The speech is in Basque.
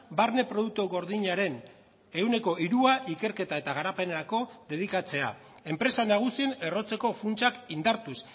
barne produktu gordinaren ehuneko hirua ikerketa eta garapenerako dedikatzea enpresa nagusien errotzeko funtsak indartuz